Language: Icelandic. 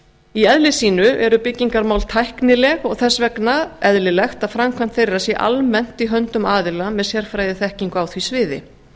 í eðli sínu eru byggingarmál tæknileg og þess vegna eðlilegt að framkvæmd þeirra sé almennt í höndum aðila með sérfræðiþekkingu á því sviði